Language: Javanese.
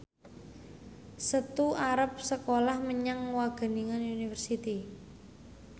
Setu arep sekolah menyang Wageningen University